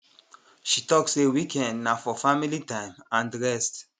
she talk say weekend na for family time and rest